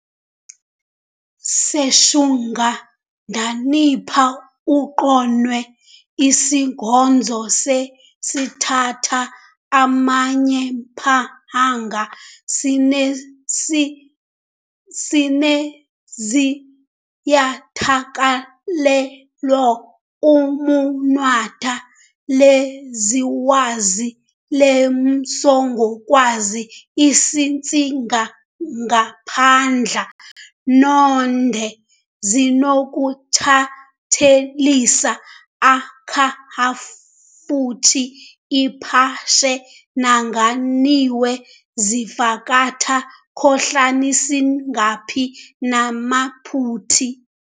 seShungudanipa uqonwe isingodzo, seTthatha amanyePhahanga sine sineZivyatakalewalo uMunwata leZiWazi leMsokgwazi isitsikangaphandla noNde zinokuthatshelisa a-khahafutshi iphashana nanganiwe zavhakatha khohlasiniNgaphi namaphuti